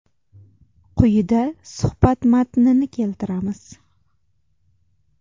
Quyida suhbat matnini keltiramiz.